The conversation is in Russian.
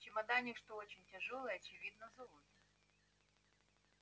чемодане что очень тяжёлое очевидно золото